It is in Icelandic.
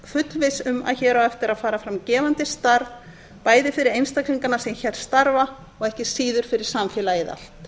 fullviss um að hér á eftir að fara fram gefandi starf bæði fyrir einstaklingana sem hér starfa og ekki síður fyrir samfélagið allt